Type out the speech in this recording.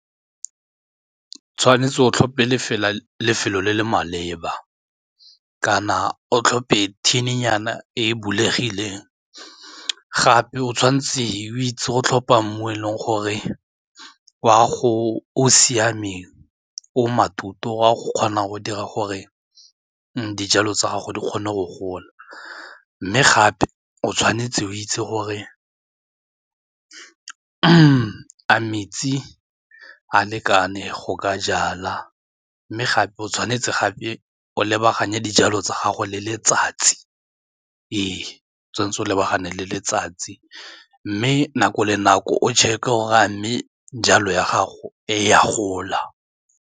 Tshwanetse kana o tlhophe thininyana e e bulegileng gape o tshwanetse o itse go tlhopha mmu i e leng gore o siameng o maithuto a go kgona go dira gore dijalo tsa gago di kgone go gola. Mme gape o tshwanetse o itse gore a metsi a lekane go ka jala mme gape o tshwanetse gape o lebagana dijalo tsa gago le letsatsi ee tshwanetse o lebagane le letsatsi mme nako le nako o check-e gore a mme jalo ya gago e a gola.